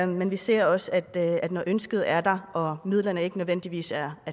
men vi ser også at når ønsket er der og midlerne ikke nødvendigvis er